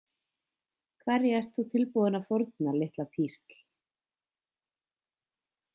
Hverju ert þú tilbúin til að fórna, litla písl?